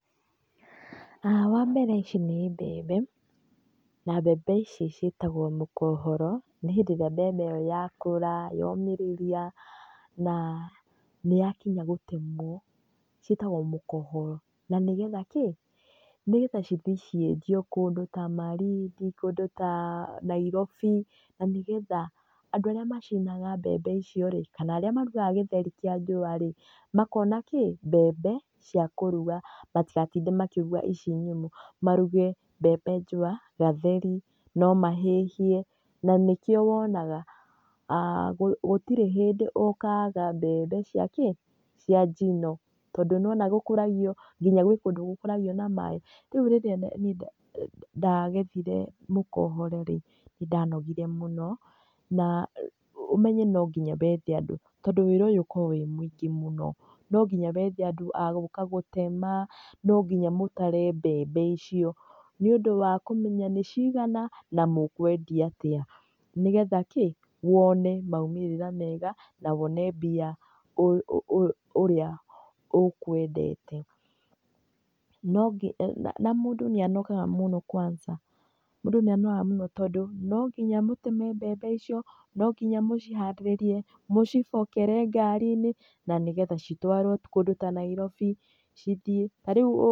Wa mbere ici nĩ mbembe, na mbembe ici cĩtagwo mũkohoro, nĩ hĩndĩ ĩrĩa mbembe yakũra yomĩrĩria na nĩ yakinya gũtemwo, cĩtagwo mũkohoro. Na nĩgetha kĩĩ cithiĩ ciendio kũndũ ta Malindi, kũndũ ta Nairobĩ, na nĩgetha andũ arĩa macina mbembe icio rĩ kana arĩa marugaga gĩtheri kĩa njũa rĩ makona kĩĩ mbembe cia kũruga, matigatinde makĩruga icio nyũmũ, maruge mbembe njũa, gatheri, no mahĩhie. Na nĩ kĩo wonaga gũtirĩ hĩndĩ ũkaga mbembe cia kĩĩ cia njino, tondũ nĩ wona gũkũragĩo nginya gwĩ kũndũ gũkũragio na maĩ. Rĩu rĩrĩa nĩ ndagethĩre mũkohoro rĩ nĩ ndanogire mũno na ũmenye no ngina wethe andũ, tondũ wĩra ũyũ ũkoragwo wĩ mũingĩ mũno, no nginya wethe andũ gũka gũtema, no ngina mũtare mbembe icio nĩ ũndũ wa kũmenya nĩ cigana na mũkwendia arĩa, nĩgetha wone maumĩrĩra mega na wone mbia ũrĩa ũkwendete. Na mũndũ nĩ anogaga mũno kwanza, mũndũ nĩ anogaga mũno tondũ no ngina mũtare mbembe icio, nonginya mũcihandĩrĩrie, mũcibokere ngari-inĩ na nĩ getha citwarwo kũndũ ta Nairobĩ cithĩĩ tarĩũ